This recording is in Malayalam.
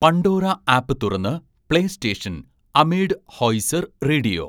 പണ്ടോറ ആപ്പ് തുറന്ന് പ്ലേ സ്റ്റേഷൻ അമേഡ് ഹോയ്സർ റേഡിയോ